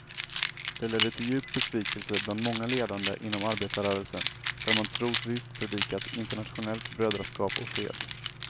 Det ledde till djup besvikelse bland många ledande inom arbetarrörelsen, där man trosvisst predikat internationellt brödraskap och fred.